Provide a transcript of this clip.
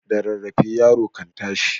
Da rarrafe yaro kan tashi